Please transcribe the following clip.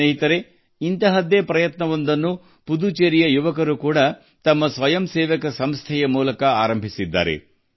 ಸ್ನೇಹಿತರೇ ಪುದುಚೇರಿಯ ಯುವಕರು ತಮ್ಮ ಸ್ವಯಂಸೇವಾ ಸಂಸ್ಥೆಗಳ ಮೂಲಕ ಅಂತಹ ಒಂದು ಪ್ರಯತ್ನವನ್ನು ಕೈಗೊಂಡಿದ್ದಾರೆ